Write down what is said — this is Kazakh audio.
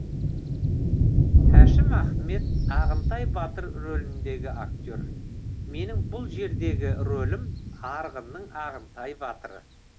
әшім ахмет ағынтай батыр рөліндегі актер менің бұл жердегі рөлім арғынның ағынтай батыры